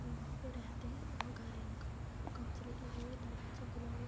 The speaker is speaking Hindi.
वहाँ पे रहते हैं औ घर है इनका। कांच लगी हुई है। दरवाजा खुला हुआ --